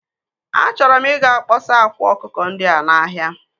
Achọrọ m ị ga kpọsa akwa akụkọ ndị a n'ahia.